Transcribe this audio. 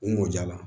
U mɔ ja la